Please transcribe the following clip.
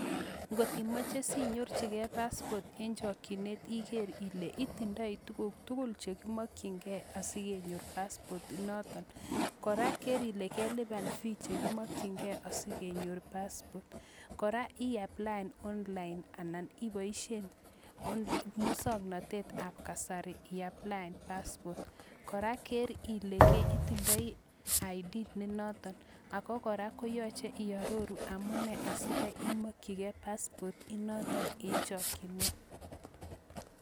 Ng'ot imoche sinyorchike paspot en chokyinet Iker ileeitindoi tukuk tukul chekimokying'e asikenyor paspot initon, kora ker ilee kelipan fee chekimokying'e asikenyor paspot, kora iapplaen online anan iboishen muswoknotetab kasari iapllaen paspot, kora ker ilee itindoi id nenoton, kora yoche iaroru amune asikai imokyinike paspot initon en chokyinet.